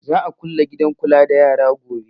Za a kulle gidan kula da yaran gobe